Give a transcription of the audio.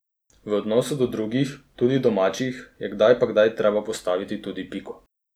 V odnosu do drugih, tudi domačih, je kdaj pa kdaj treba postaviti tudi piko.